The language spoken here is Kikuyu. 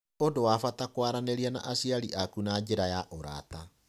Nĩ ũndũ wa bata kwaranĩria na aciari aku na njĩra ya ũrata.